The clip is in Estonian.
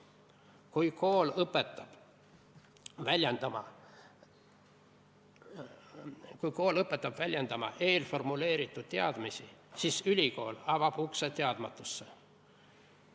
Kui kool õpetab väljendama eelformuleeritud teadmisi, siis ülikool avab ukse teadmatusse.